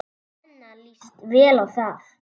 Svenna líst vel á það.